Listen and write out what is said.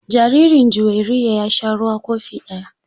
Jaririn Juwairiya ya sha ruwa kofi ɗaya.